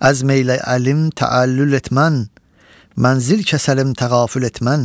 Əzm eylə əlim təəllül etmən, mənzil kəsəlim təğafül etmən.